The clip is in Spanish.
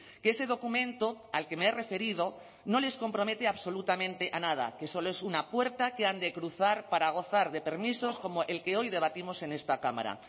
que ese documento al que me he referido no les compromete absolutamente a nada que solo es una puerta que han de cruzar para gozar de permisos como el que hoy debatimos en esta cámara